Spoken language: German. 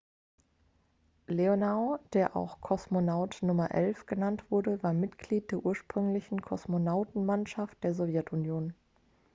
"leonow der auch "kosmonaut nr. 11" genannt wurde war mitglied der ursprünglichen kosmonautenmannschaft der sowjetunion.